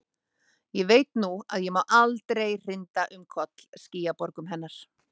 Ég veit nú að ég má aldrei hrinda um koll skýjaborgum hennar.